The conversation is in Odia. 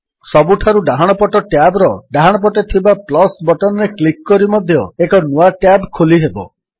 ସବୁଠାରୁ ଡାହାଣପଟ ଟ୍ୟାବ୍ ର ଡାହାଣପଟେ ଥିବା ବଟନ୍ ରେ କ୍ଲିକ୍ କରି ମଧ୍ୟ ଏକ ନୂଆ ଟ୍ୟାବ୍ ଖୋଲିହେବ